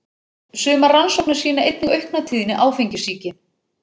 Sumar rannsóknir sýna einnig aukna tíðni áfengissýki.